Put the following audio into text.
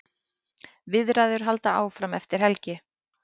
Viðræður halda áfram eftir helgi.